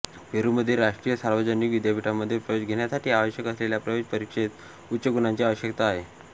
पेरूमध्ये राष्ट्रीय सार्वजनिक विद्यापीठांमध्ये प्रवेश घेण्यासाठी आवश्यक असलेल्या प्रवेश परीक्षेस उच्च गुणांची आवश्यकता आहे